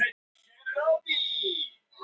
Vilbjörn, hvað er á dagatalinu í dag?